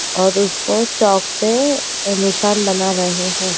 और उसको चॉक से निशान बना रहे है।